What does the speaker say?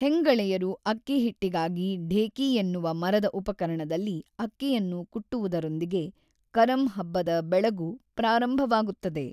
ಹೆಂಗಳೆಯರು ಅಕ್ಕಿ ಹಿಟ್ಟಿಗಾಗಿ ಢೇಕಿ ಎನ್ನುವ ಮರದ ಉಪಕರಣದಲ್ಲಿ ಅಕ್ಕಿಯನ್ನು ಕುಟ್ಟುವುದರೊಂದಿಗೆ ಕರಮ್ ಹಬ್ಬದ ಬೆಳಗು ಪ್ರಾರಂಭವಾಗುತ್ತದೆ.